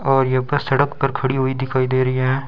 और यह बस सड़क पर खड़ी हुई दिखाई दे रही है।